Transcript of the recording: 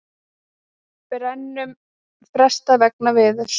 Brennum frestað vegna veðurs